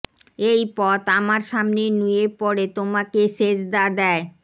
এই পথ আমার সামনে নুয়ে পড়ে তোমাকে সেজদা দেয়